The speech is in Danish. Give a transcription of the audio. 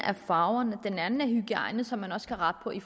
er farverne en anden ting er hygiejnen som man også kan rette på i